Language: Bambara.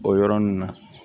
O yɔrɔnin na